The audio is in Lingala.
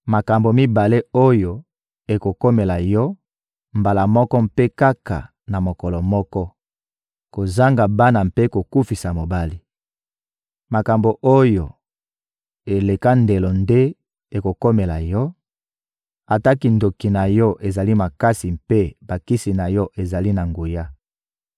Makambo mibale oyo ekokomela yo mbala moko mpe kaka na mokolo moko: kozanga bana mpe kokufisa mobali. Makambo oyo eleka ndelo nde ekokomela yo, ata kindoki na yo ezali makasi mpe bakisi na yo ezali na nguya.